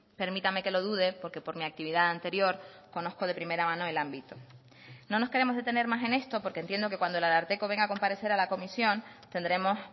permítame que lo dude porque por mi actividad anterior conozco de primera mano el ámbito no nos queremos detener más en esto porque entiendo que cuando el ararteko venga a comparecer a la comisión tendremos